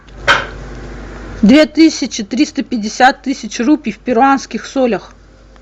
две тысячи триста пятьдесят тысяч рупий в перуанских солях